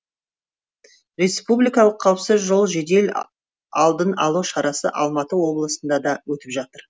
республикалық қауіпсіз жол жедел алдын алу шарасы алматы облысында да өтіп жатыр